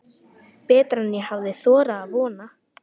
Betra en ég hafði þorað að vona